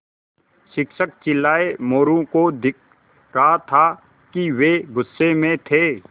शिक्षक चिल्लाये मोरू को दिख रहा था कि वे गुस्से में थे